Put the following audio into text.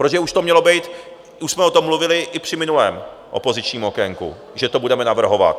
Protože už to mělo být, už jsme o tom mluvili i při minulém opozičním okénku, že to budeme navrhovat.